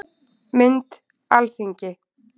Mynd: Alþingi